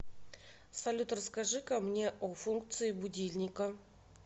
салют расскажи ка мне о функции будильника